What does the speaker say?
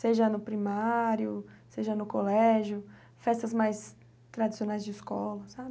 Seja no primário, seja no colégio, festas mais tradicionais de escola, sabe?